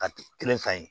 Ka kelen ka ɲi